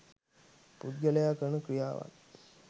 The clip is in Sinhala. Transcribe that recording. පුද්ගලයා කරන ක්‍රියාවන්